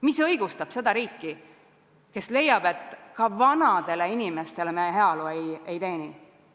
Mis õigustab riiki, kes leiab, et vanadele inimestele me heaolu ei garanteeri?